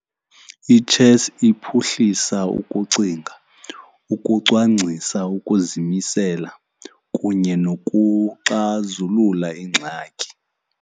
Itshesi iphuhlisa ukucinga, ukucwangcisa, ukuzimisela kunye nokuxazulula ingxaki.